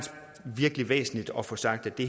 virkelig væsentligt at få sagt at det